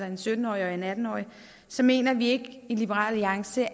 en sytten årig og en atten årig så mener vi i liberal alliance